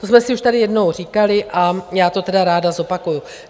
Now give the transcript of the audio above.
To jsme si už tady jednou říkali a já to tedy ráda zopakuji.